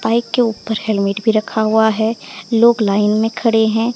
Bike के ऊपर helmet भी रखा हुआ है लोग लाइन में खड़े हैं।